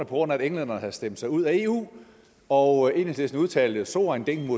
grund af at englænderne havde stemt sig ud af eu og enhedslisten udtalte at so ein ding